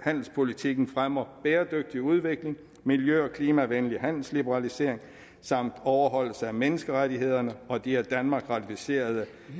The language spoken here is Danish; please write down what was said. handelspolitikken fremmer bæredygtig udvikling miljø og klimavenlig handelsliberalisering samt overholdelse af menneskerettighederne og de af danmark ratificerede